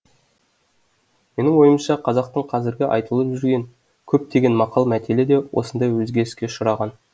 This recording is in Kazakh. менің ойымша қазақтың қазіргі айтылып жүрген көптегенмақал мәтелі де осындай өзгеріске ұшыраған